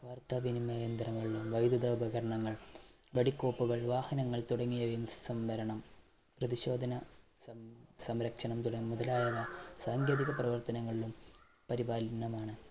വാർത്താവിനിമയ യന്ത്രങ്ങൾ, വൈദ്യുതോപകരണങ്ങൾ, വെടികോപ്പുകൾ, വാഹനങ്ങൾ തുടങ്ങിയവയിൽ സംവരണം പരിശോധന സംസംരക്ഷണം തുടങ്ങിയ മുതലായവ സാങ്കേതിക പ്രവർത്തനങ്ങളിലും പരിപാലനമാണ്